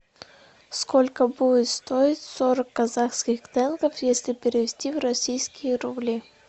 сколько будет стоить сорок казахских тенге если перевести в российские рубли